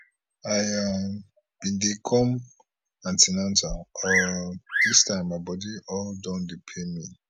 i um bin dey come an ten atal um dis time my body all don dey pain me